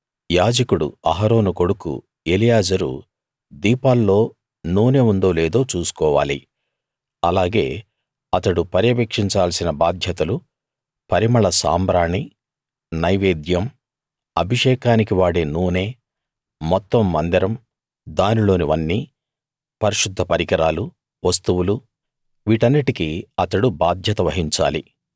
యాజకుడు అహరోను కొడుకు ఎలియాజరు దీపాల్లో నూనె ఉందో లేదో చూసుకోవాలి అలాగే అతడు పర్యవేక్షించాల్సిన బాధ్యతలు పరిమళ సాంబ్రాణి నైవేద్యం అభిషేకానికి వాడే నూనె మొత్తం మందిరం దానిలోనివన్నీ పరిశుద్ధ పరికరాలు వస్తువులువీటన్నిటికీ అతడు బాధ్యత వహించాలి